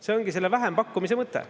See ongi selle vähempakkumise mõte.